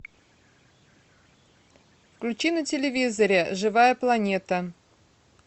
включи на телевизоре живая планета